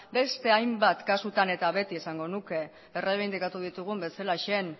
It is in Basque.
beste hainbat kasutan eta beti esango nuke erreibindikatu ditugun bezalaxe